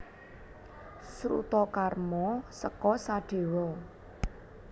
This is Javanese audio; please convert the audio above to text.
Srutakarma seka Sadewa